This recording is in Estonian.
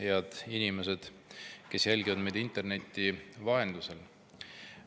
Head inimesed, kes jälgivad meid interneti vahendusel!